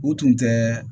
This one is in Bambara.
U tun tɛ